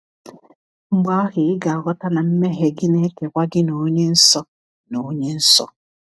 Mgbe ahụ ị ga-aghọta na mmehie gị na-ekewa gị na Onye Nsọ. na Onye Nsọ.